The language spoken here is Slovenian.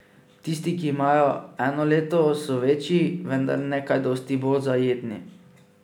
Tisti, ki imajo eno leto, so večji, vendar ne kaj dosti bolj zajetni.